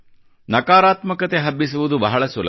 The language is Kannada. ನಕಾರಾತ್ಮಕತೆ ಹಬ್ಬಿಸುವುದು ಬಹಳ ಸುಲಭ